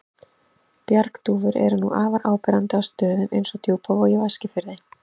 Bjargdúfur eru nú afar áberandi á stöðum eins og Djúpavogi og Eskifirði.